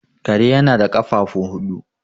kare yana da kafafu huudu